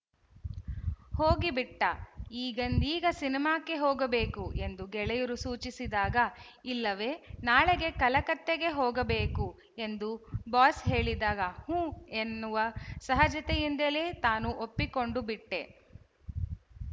ಹೋಗಿಬಿಟ್ಟ ಈಗಿಂದೀಗ ಸಿನೇಮಾಕ್ಕೆ ಹೋಗಬೇಕು ಎಂದು ಗೆಳೆಯರು ಸೂಚಿಸಿದಾಗ ಇಲ್ಲವೆ ನಾಳೆಗೆ ಕಲಕತ್ತೆಗೆ ಹೋಗಬೇಕು ಎಂದು ಬಾಸ್ ಹೇಳಿದಾಗ ಹುಂ ಎನ್ನುವ ಸಹಜತೆಯಿಂದಲೇ ತಾನು ಒಪ್ಪಿಕೊಂಡುಬಿಟ್ಟೆ